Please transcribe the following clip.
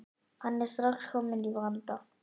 Hann er strax kominn í vanda.